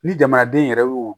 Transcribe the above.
Ni jamanaden yɛrɛ y'o